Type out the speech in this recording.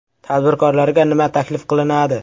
Tadbirkorlarga nima taklif qilinadi?